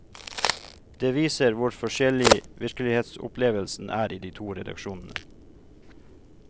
Det viser hvor forskjellig virkelighetsopplevelsen er i de to redaksjonene.